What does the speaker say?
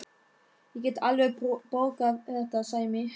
Ég get alveg borgað þetta, Sæmi.